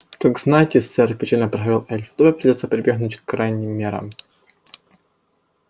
так знайте сэр печально проговорил эльф добби придётся прибегнуть к крайним мерам